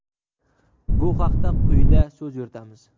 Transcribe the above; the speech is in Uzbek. Bu haqda quyida so‘z yuritamiz.